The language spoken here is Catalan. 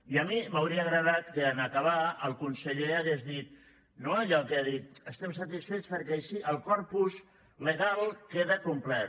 i a mi m’hauria agradat que en acabar el conseller hagués dit no allò que ha dit estem satisfets perquè així el corpus legal queda complert